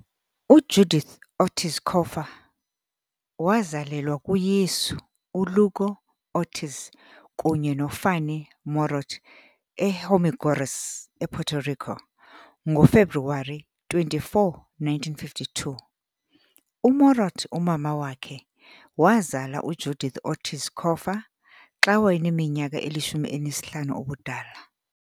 UJudith Ortíz Cofer wazalelwa kuYesu uLugo Ortíz kunye noFanny Morot eHormigueros, ePuerto Rico, ngoFebruwari 24, 1952. UMorot, umama wakhe, wazala uJudith Ortíz Cofer xa wayeneminyaka elishumi elinesihlanu ubudala..